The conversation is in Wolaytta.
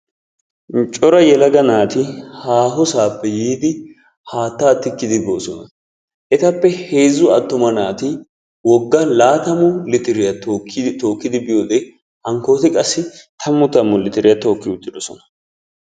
cora yelaga naati haaho saappe yiidi haataa tikkidi boosona. etappe heezzu wga naati woga laatammu litiriya tookidi biyode hankooti qassi tammu tammu litiriya tookin uttidosona.